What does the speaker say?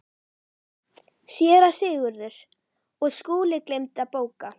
SÉRA SIGURÐUR: Og Skúli gleymdi að bóka.